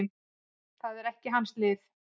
Það er ekki hans lið.